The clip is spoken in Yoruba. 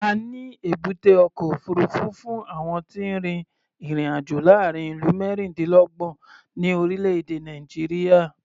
A ní èbúté ọkọ̀ òfuurufú fún àwọn tí ń rin ìrìn-àjò láàárín ìlú mẹ́rìndínlọ́gbọ̀n ní orílẹ̀-èdè Nàìjíríà.